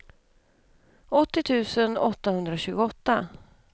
åttio tusen åttahundratjugoåtta